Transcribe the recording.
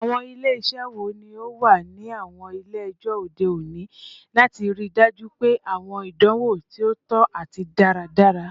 Awọn ile-iṣẹ wo ni o wa ni awọn ile-ẹjọ ode oni lati rii daju pe awọn idanwo ti o tọ ati daradara?